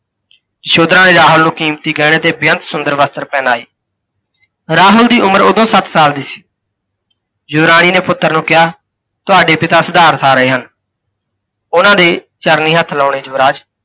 ਯਸ਼ੋਧਰਾ ਨੇ ਰਾਹੁਲ ਨੂੰ ਕੀਮਤੀ ਗਹਿਣੇ ਤੇ ਬਿਅੰਤ ਸੁੰਦਰ ਵਸਤਰ ਪਹਿਨਾਏ । ਰਾਹੁਲ ਦੀ ਉਮਰ ਉਧੋਂ ਸੱਤ ਸਾਲ ਦੀ ਸੀ। ਯੁਵਰਾਣੀ ਨੇ ਪੁੱਤਰ ਨੂੰ ਕਿਹਾ, ਤੁਹਾਡੇ ਪਿਤਾ ਸਿਧਾਰਥ ਆ ਰਹੇ ਹਨ, ਉਨ੍ਹਾਂ ਦੇ ਚਰਨੀ ਹੱਥ ਲਾਓਣੇ ਯੁਵਰਾਜ।